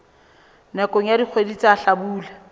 nakong ya dikgwedi tsa hlabula